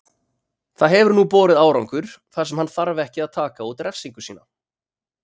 Það hefur nú borið árangur þar sem hann þarf ekki að taka út refsingu sína.